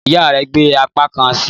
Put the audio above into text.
Ìyá rẹ̀ gbé apá kan sí i